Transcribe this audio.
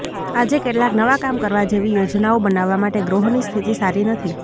આજે કેટલાક નવા કામ કરવા જેવી યોજનાઓ બનાવવા માટે ગ્રહોની સ્થિતિ સારી નથી